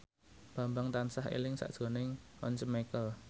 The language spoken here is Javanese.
Bambang tansah eling sakjroning Once Mekel